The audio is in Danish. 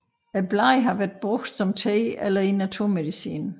Bladene har været brugt som te eller i naturmedicin